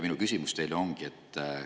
Minu küsimus teile on selline.